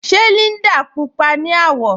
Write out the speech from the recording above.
Ṣe Líndà púpọa ni awọ̀?